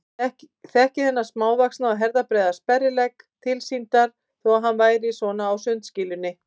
Þekkti þennan smávaxna og herðabreiða sperrilegg tilsýndar þó að hann væri svona á sundskýlunni.